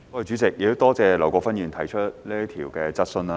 主席，多謝劉國勳議員提出這項質詢。